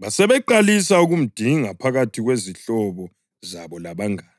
Basebeqalisa ukumdinga phakathi kwezihlobo zabo labangane.